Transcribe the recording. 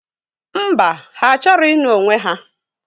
Ḿbà, ha achọrọ ịnụ onwe ha.